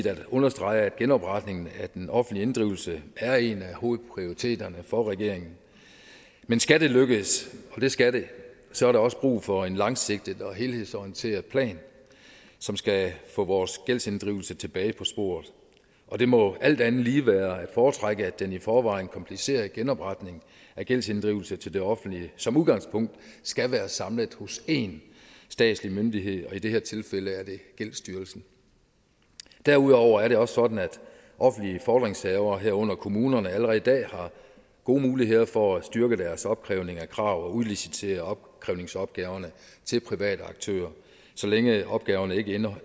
at understrege at genopretningen af den offentlige inddrivelse er en af hovedprioriteterne for regeringen men skal det lykkes og det skal det så er der også brug for en langsigtet og helhedsorienteret plan som skal få vores gældsinddrivelse tilbage på sporet og det må alt andet lige være at foretrække at den i forvejen komplicerede genopretning af gældsinddrivelse til det offentlige som udgangspunkt skal være samlet hos en statslig myndighed og i det her tilfælde er det gældsstyrelsen derudover er det også sådan at offentlige fordringshavere herunder kommunerne allerede i dag har gode muligheder for at styrke deres opkrævning af krav og udlicitere opkrævningsopgaverne til private aktører så længe opgaverne ikke indeholder